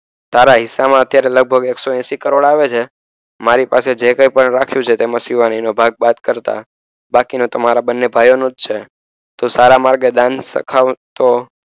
તારા હિસ્સામાં લગભગ અત્યારે એકસોએંશી કરોડ આવે છે મારી પાસે જે કઇપણ રાખ્યું છે તેમાં શિવાનીનો ભાગ બાદ કરતાં બાકીના તમારા બંને ભાઈઓનુજ છે તું સારા માર્ગે દાન સરખાવતો